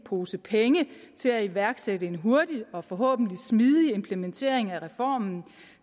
pose penge til at iværksætte en hurtig og forhåbentlig smidig implementering af reformen